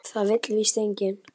Það vill víst enginn.